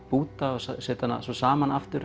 búta og setja hana svo saman aftur